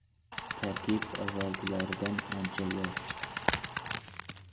Tarkib avvalgilaridan ancha yosh.